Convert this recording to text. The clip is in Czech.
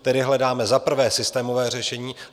Tedy hledáme za prvé systémové řešení.